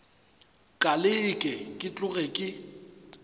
ka leke ke tloge ke